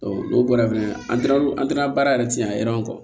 n'o bɔra fana an taara an taara baara yɛrɛ ci a yɔrɔ